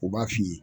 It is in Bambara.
U b'a f'i ye